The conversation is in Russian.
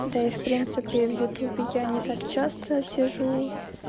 да и в принципе в ютубе я не так часто сижу